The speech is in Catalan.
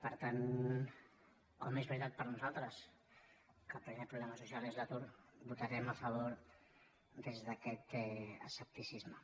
per tant com que és veritat per nosaltres que el primer problema social és l’atur votarem a favor des d’aquest escepticisme